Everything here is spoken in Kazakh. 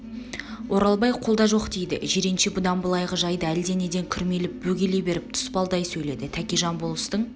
оралбай қолда жоқ дейді жиренше бұдан былайғы жайды әлденеден күрмеліп бөгеле беріп тұспалдай сөйледі тәкежан болыстың